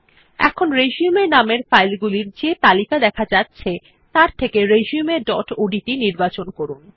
এখন রিসিউম নামের ফাইলগুলির যে তালিকা দেখা যাচ্ছে তার থেকে রিসিউম ডট ওডিটি নির্বাচন করুন